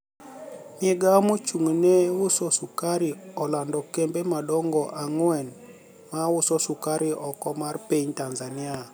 Migao mochung'ne ni e uso sukari olanido kembe madonigo anigwe ma uso sukari oko mar piniy tanizaniia.